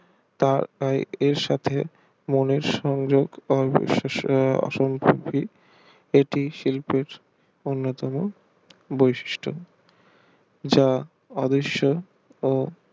তা আর সাথে মনের সংযোগ এটি শিল্পের অন্যতম বৈশিষ্ট যা আদর্শ ও